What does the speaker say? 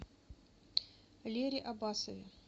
лере аббасове